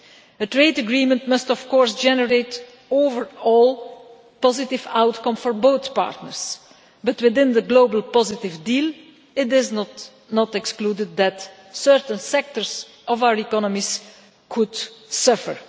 A trade agreement must, of course, generate overall a positive outcome for both partners, but within the globally positive deal it is not excluded that certain sectors of our economies could suffer.